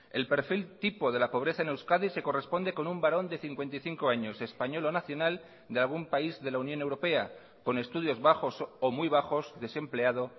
el perfil tipo de la pobreza en euskadi se corresponde con un varón de cincuenta y cinco años español o nacional de algún país de la unión europea con estudios bajos o muy bajos desempleado